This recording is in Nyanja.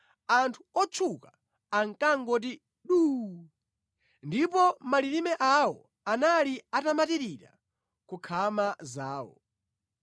anthu otchuka ankangoti duu, ndipo malilime awo anali atamatirira ku nkhama zawo.